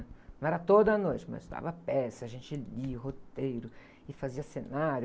Não era toda noite, mas dava peça, a gente lia o roteiro e fazia cenário.